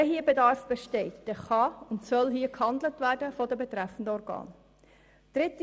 Wenn hier Bedarf besteht, dann kann und soll seitens der betreffenden Organe gehandelt werden.